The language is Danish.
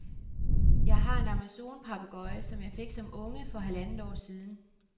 Jeg har en amazonpapegøje, som jeg fik som unge for halvandet år siden.